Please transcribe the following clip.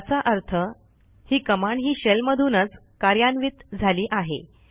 याचा अर्थ ही कमांड ही शेल मधूनच कार्यान्वित झाली आहे